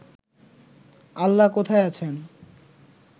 আল্লাহ কোথায় আছেন